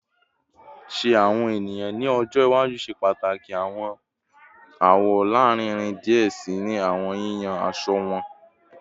Ṣe awọn eniyan ni ọjọ iwaju ṣe pataki awọn awọ larinrin diẹ sii ni awọn yiyan aṣọ wọn?